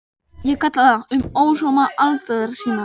Ég kalla það: Um ósóma aldar sinnar